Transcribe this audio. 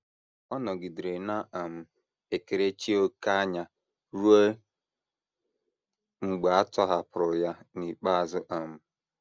um Ọ nọgidere na - um ekerechi òkè anya ruo mgbe a tọhapụrụ ya n’ikpeazụ um.